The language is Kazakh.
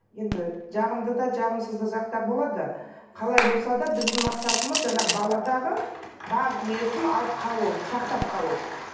енді жағымды да жағымсыз да жақтар болады қалай болса да біздің мақсатымыз жаңағы баладағы бар дүниесін алып қалу сақтап қалу